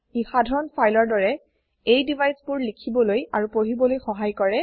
ই সাধাৰণ ফাইলৰ দৰে এই deviceবোৰ লিখিবলৈ আৰু পঢ়িবলৈ সহায় কৰে